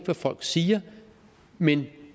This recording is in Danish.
hvad folk siger men